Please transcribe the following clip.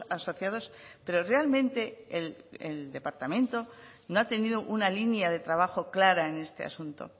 asociados pero realmente el departamento no ha tenido una línea de trabajo clara en este asunto